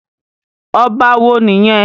Ọba wo nìyẹn?